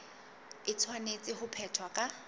e tshwanetse ho phethwa ka